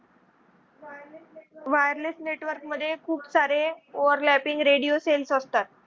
wireless network मध्ये खूप सारे overlapping radio cells असतात.